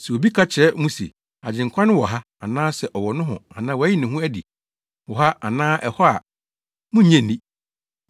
Sɛ obi ka kyerɛ mo se, ‘Agyenkwa no wɔ ha anaasɛ ɔwɔ nohɔ anaa wayi ne ho adi wɔ ha anaa ɛhɔ’ a, munnnye nni.